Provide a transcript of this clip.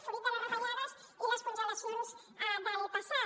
fruit de les retallades i les congelacions del passat